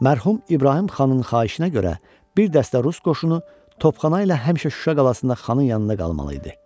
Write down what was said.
Mərhum İbrahim Xanın xahişinə görə bir dəstə rus qoşunu topxana ilə həmişə Şuşa qalasında xanın yanında qalmalı idi.